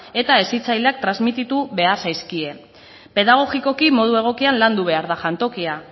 eta hezitzaileak transmititu behar zaizkie pedagogikoki modu egokian landu behar da jantokia